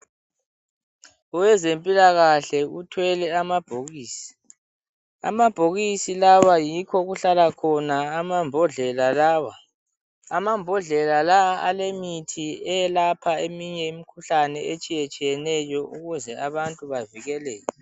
Owezempilakahle uthwele amabhokisi, amabhokisi lawa yikho okuhlala khona amambodlela lawa. Amambodlela lawa alemithi eyelapha eminye imikhuhlane etshiyetshiyeneyo ukuze abantu bavikeleke.